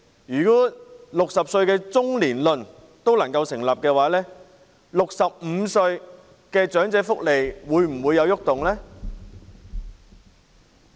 如果 "60 歲中年論"成立 ，65 歲的長者的福利又會否有所改動呢？